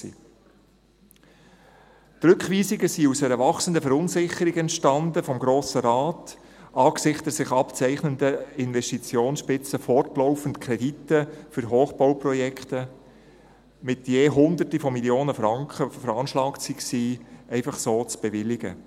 Die Rückweisungen entstanden aus einer wachsenden Verunsicherung des Grossen Rates angesichts der sich abzeichnenden Investitionsspitze, wenn man fortlaufend Kredite, die für Hochbauprojekte mit je Hunderten von Millionen von Franken veranschlagt waren, einfach so bewilligt.